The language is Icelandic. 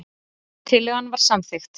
Tillagan var samþykkt.